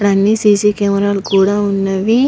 ఇక్కడ అన్నీ C C camera లు కూడా ఉన్నవి.